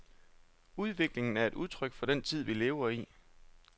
Udviklingen er et udtryk for den tid, vi lever i.